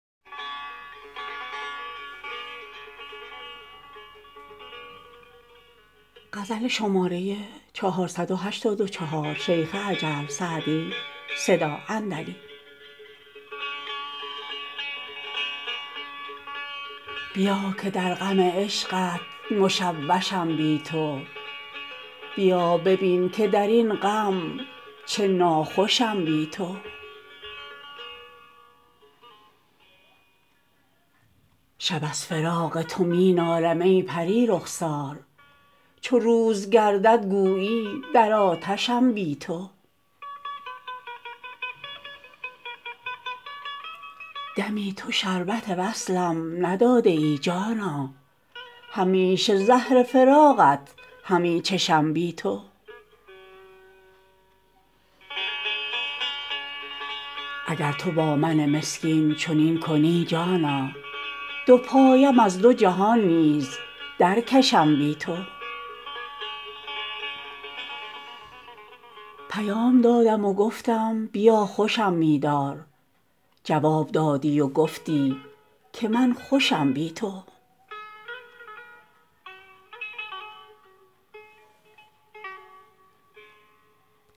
بیا که در غم عشقت مشوشم بی تو بیا ببین که در این غم چه ناخوشم بی تو شب از فراق تو می نالم ای پری رخسار چو روز گردد گویی در آتشم بی تو دمی تو شربت وصلم نداده ای جانا همیشه زهر فراقت همی چشم بی تو اگر تو با من مسکین چنین کنی جانا دو پایم از دو جهان نیز درکشم بی تو پیام دادم و گفتم بیا خوشم می دار جواب دادی و گفتی که من خوشم بی تو